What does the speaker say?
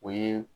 O ye